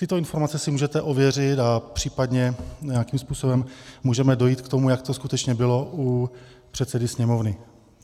Tyto informace si můžete ověřit a případně nějakým způsobem můžeme dojít k tomu, jak to skutečně bylo, u předsedy Sněmovny.